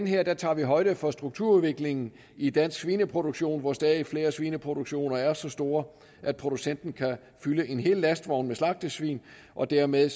her tager højde for strukturudviklingen i dansk svineproduktion hvor stadig flere svineproduktioner er så store at producenten kan fylde en hel lastvogn med slagtesvin og dermed